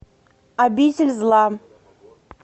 обитель зла